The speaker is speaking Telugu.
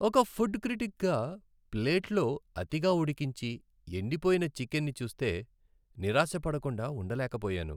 ఒక ఫుడ్ క్రిటిక్గా, ప్లేట్లో అతిగా ఉడికించి, ఎండిపోయిన చికెన్ని చూస్తే నిరాశపడకుండా ఉండలేకపోయాను.